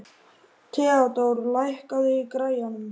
Theódór, lækkaðu í græjunum.